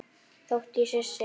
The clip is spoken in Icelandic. Þótt ég sé sek.